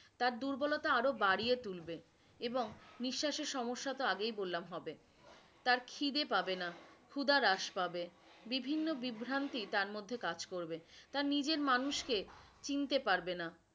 তার দুর্বলতা আরো বাড়িয়ে তুলবে এবং নিঃস্বাশের সমস্যা তো আগেই বললাম হবে, তার খিদে পাবে না, খুদা হ্রাস পাবে, বিভিন্ন বিভ্রান্তি তার মধ্যে কাজ করবে, তার নিজের মানুষকে চিনতে পারবে না।